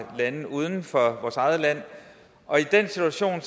lande uden for vores eget land i den situation